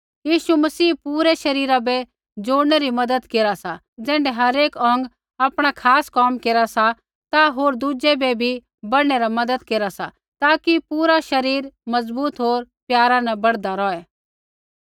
यीशु मसीह पूरै शरीरा बै जोड़नै री मज़त केरा सा ज़ैण्ढै हरेक अौंग आपणा खास कोम केरा सा ता होर दुज़ै बै भी बढ़नै न मज़त केरा सा ताकि पूरा शरीर मज़बूत होर प्यारा न बढ़दा रौहे